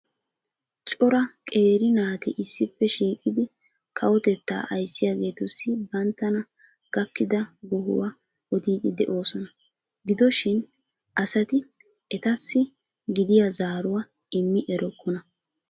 cora qeeri naati issippe shiiqidi Kawotettaa ayssiyageetussi bantana gakkida gohuwa odiidi déoosona giddo shin asati etassi gidya zaaruwa immi erokonna